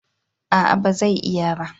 A'a ba zai iya ba